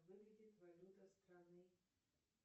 выглядит валюта страны